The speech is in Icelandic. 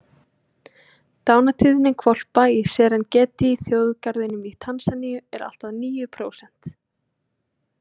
Dánartíðni hvolpa í Serengeti-þjóðgarðinum í Tansaníu er allt að níu prósent.